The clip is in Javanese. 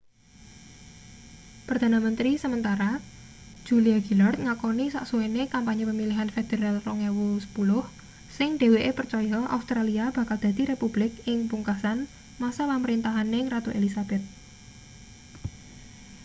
perdana menteri sementara julia gillard ngakoni sasuwene kampanye pemilihan federal 2010 sing dheweke percaya australia bakal dadi republik ing pungkasan masa pamrintahaning ratu elizabeth